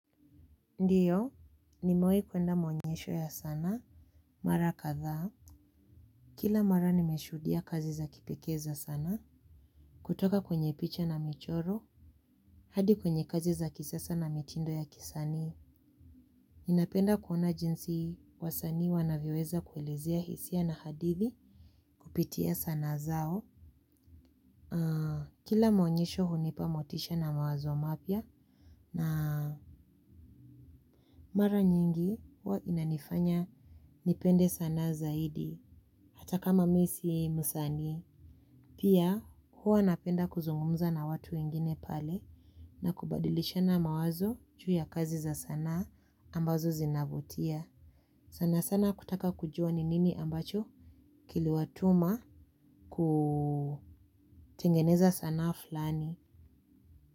Ndiyo nimawehi kuenda maonyesho ya sanaa mara kadhaa kila mara nimeshuhudia kazi za kipekee za sanaa kutoka kwenye picha na michoro hadi kwenye kazi za kisasa na mitindo ya kisanii ninapenda kuona jinsi wasanii wanavyoweza kuelezea hisia na hadithi kupitia sanaa zao. Kila maonyesho hunipa motisha na mawazo mapya na mara nyingi huwa inanifanya nipende sana zaidi hata kama mimi si msanii. Pia huwa napenda kuzungumza na watu wengine pale na kubadilishana mawazo juu ya kazi za sanaa ambazo zinavutia. Sana sana kutaka kujua ni nini ambacho kiliwatuma kutengeneza sanaa fulani.